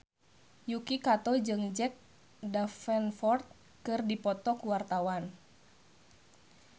Yuki Kato jeung Jack Davenport keur dipoto ku wartawan